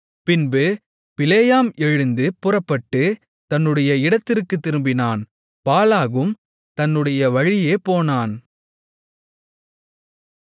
பின்பு பிலேயாம் எழுந்து புறப்பட்டு தன்னுடைய இடத்திற்குத் திரும்பினான் பாலாகும் தன்னுடைய வழியே போனான்